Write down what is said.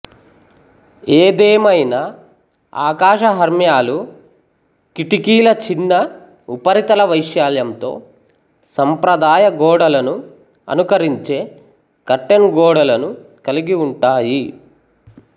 ఏదేమైనా ఆకాశహర్మ్యాలు కిటికీల చిన్న ఉపరితల వైశాల్యంతో సంప్రదాయ గోడలను అనుకరించే కర్టెన్ గోడలను కలిగి ఉంటాయి